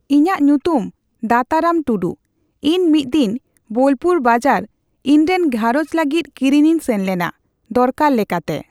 ᱤᱧᱟᱹᱜ ᱧᱩᱛᱩᱢ ᱫᱟᱛᱟᱨᱟᱢ ᱴᱩᱰᱩ᱾ ᱤᱧ ᱢᱤᱫ ᱫᱤᱱ ᱵᱳᱞᱯᱩᱨ ᱵᱟᱡᱟᱨ ᱤᱧ ᱨᱮᱱ ᱜᱷᱟᱨᱚᱡᱽ ᱞᱟᱜᱤᱛ ᱠᱤᱨᱤᱧ ᱤᱧ ᱥᱮᱱ ᱞᱮᱱᱟ᱾ ᱫᱚᱨᱠᱟᱨ ᱞᱮᱠᱟᱛᱮ